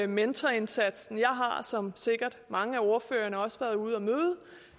mentorindsatsen jeg har har som sikkert mange af ordførerne også været ude